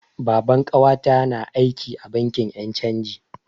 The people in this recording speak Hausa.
Baban ƙawata na aiki a bankin yan' canji.